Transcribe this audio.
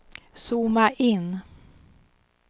zooma in